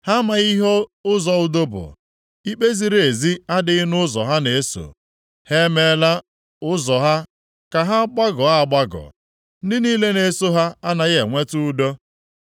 Ha amaghị ihe ụzọ udo bụ, ikpe ziri ezi adịghị nʼụzọ ha na-eso. Ha e mela ụzọ ha ka ha gbagọọ agbagọ. Ndị niile na-eso ya anaghị enweta udo.